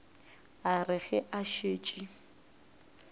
a re ge a šetše